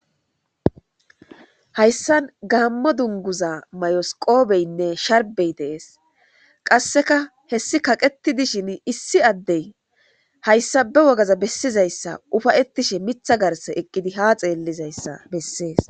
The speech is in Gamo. hayssan gaammo dunguza mayosqoobeynne sharbey deees qasseka hessi kaqeti dishin issi addey hayssa be wogaza bessizayssa ufayettishe mitha garse eqqidi ha xeellizayssa bessees